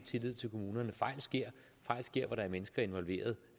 tillid til kommunerne fejl sker fejl sker hvor der er mennesker involveret